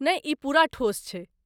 नहि, ई पूरा ठोस छै।